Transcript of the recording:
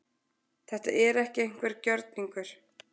Þetta er ekki einhver gjörningur